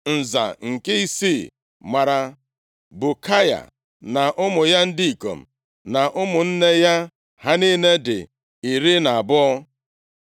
Nza nke isii mara Bukaya, na ụmụ ya ndị ikom na ụmụnne ya. Ha niile dị iri na abụọ (12).